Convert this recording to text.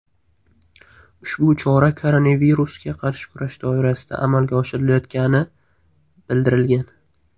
Ushbu chora koronavirusga qarshi kurash doirasida amalga oshirilayotganibildirilgan.